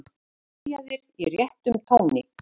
Byrjaðir í réttum tóni.